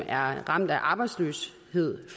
er ramt af arbejdsløshed